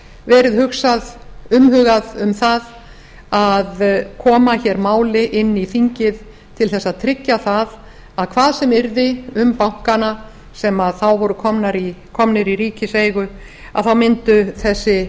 verið hugsað umhugað um það að koma hér máli inn í þingið til þess að tryggja það að hvað sem yrði um bankana sem þá voru komnir í ríkiseigu mundu þessi